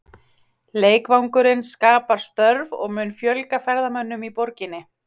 Leikvangurinn skapar störf og mun fjölga ferðamönnum í borginni.